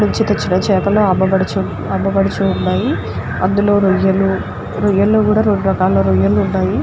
చేపలు అమ్మబడుచు అమ్మబడుచు ఉన్నాయి అందులో రొయ్యలు రొయ్యల్లో కూడా రెండు రకాల రొయ్యలు ఉన్నాయి.